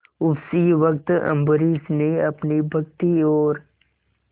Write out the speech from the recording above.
उसी वक्त अम्बरीश ने अपनी भक्ति और